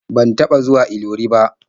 Ban taɓa zuwa Ilori ba.